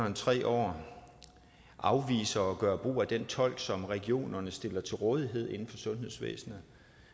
end tre år afviser at gøre brug af den tolk som regionerne stiller til rådighed inden for sundhedsvæsenet